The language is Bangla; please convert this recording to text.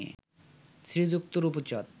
শ্রীযুক্ত রূপচাঁদ